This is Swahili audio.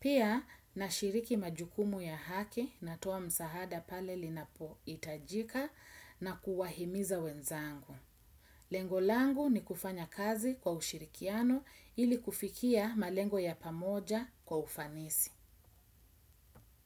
Pia na shiriki majukumu ya haki na toa msahada pale linapo itajika na kuwahimiza wenzangu. Lengolangu ni kufanya kazi kwa ushirikiano ili kufikia malengo ya pamoja kwa ufanisi.